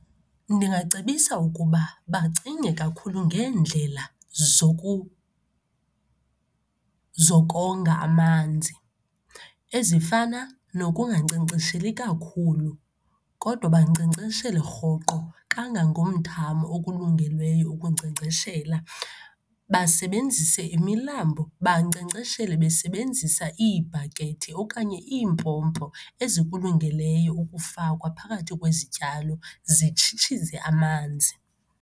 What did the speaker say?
Ndingacebisa ukuba bacinge kakhulu ngeendlela zokonga amanzi, ezifana nokungankcenkcesheli kakhulu kodwa bankcenkceshele rhoqo kangangomthamo okulungeleyo ukunkcenkceshela. Basebenzise imilambo, bankcenkceshele besebenzisa iibhakethi okanye iimpompo ezikulungeleyo ukufakwa phakathi kwezityalo, zitshitshize amanzi.